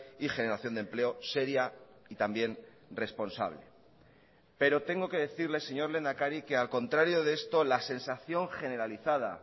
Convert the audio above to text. y generación de empleo seria y también responsable pero tengo que decirle señor lehendakari que al contrario de esto la sensación generalizada